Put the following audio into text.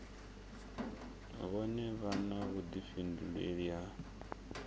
vhone vha na vhuḓifhinduleli ha